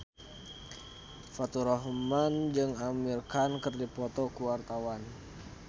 Faturrahman jeung Amir Khan keur dipoto ku wartawan